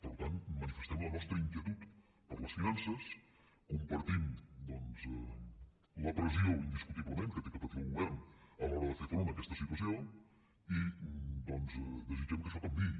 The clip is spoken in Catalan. per tant manifestem la nostra inquietud per les finances compartim doncs la pressió indiscutiblement que ha de patir el govern a l’hora de fer front a aquesta situació i doncs desitgem que això canviï